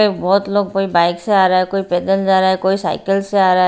बहुत लोग कोई बाइक से आ रहा है कोई पैदल जा रहा है कोई साइकिल से आ रहा है।